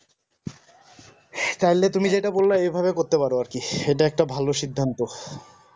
তাহলে তুমি যেটা বললা ঐভাবে করতে পারো আর কি এটা একটা ভালো সিদ্ধান্ত